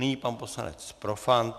Nyní pan poslanec Profant.